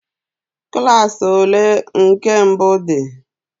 Klas ole nke mbụ dị?